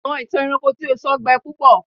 àwọn ìtàn ẹranko tí o sọ gbẹ púpọ